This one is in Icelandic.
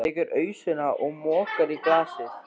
Tekur ausuna og mokar í glasið.